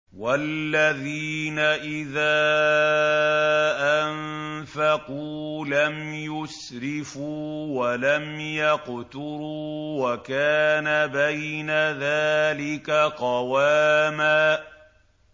وَالَّذِينَ إِذَا أَنفَقُوا لَمْ يُسْرِفُوا وَلَمْ يَقْتُرُوا وَكَانَ بَيْنَ ذَٰلِكَ قَوَامًا